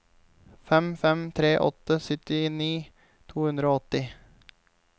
fem fem tre åtte syttini to hundre og åtti